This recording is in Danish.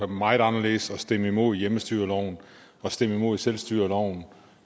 meget anderledes og stemt imod hjemmestyreloven og stemt imod selvstyreloven